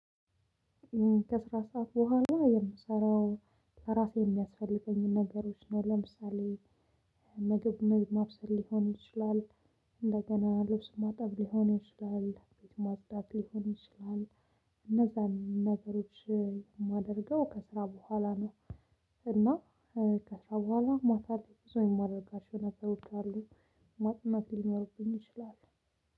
ከስራ ሰዓት በኋላ የምሰራው ለራሴ የሚያስፈልጉኝን ነገሮች ነው። ለምሳሌ ምግብ ማብሰል ሊሆን ይችላል። እንደገና ልብስ ማጠብ ሊሆን ይችላል ቤት ማጽዳት ሊሆን ይችላል። እነዛን ነገሮች የማደርገው ከስራ በኋላ ነው። እና ከስራ በኋላ ማታ ላይ ብዙ የማደርጋቸው ነገሮች አሉ። ማጥናት ሊኖርብኝ ይችላል